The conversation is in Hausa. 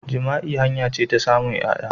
Jima'i hanya ce na samun ƴaya.